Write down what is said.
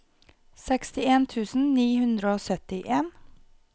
sekstien tusen ni hundre og syttien